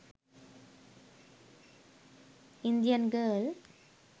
indian girl